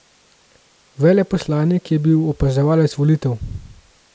Veleposlanik je bil opazovalec volitev.